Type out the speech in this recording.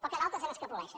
però que d’altres se n’escapoleixen